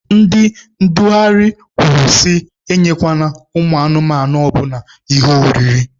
Ndị ndugharị kwuru sị enyekwana anụmanụ ọbụla ihe oriri.